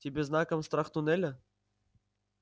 тебе знаком страх туннеля